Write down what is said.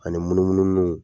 Ani munumunu nu